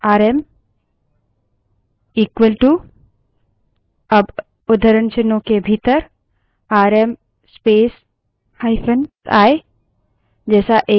तो rm alias RM equalto अब उद्धरणचिन्हों के भीतर आरएम space –i जैसा एक एलाइस set कर सकते हैं